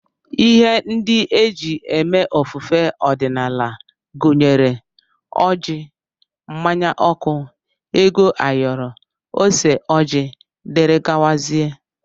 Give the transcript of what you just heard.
Ihe ndị e ji eme ofufe ọdịnala gụnyere ọjị, mmanya ọkụ, ego ayoro, ose ọjị, dgz